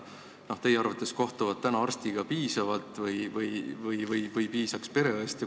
Kas teie arvates kohtuvad inimesed praegu arstiga piisavalt või piisaks pereõest?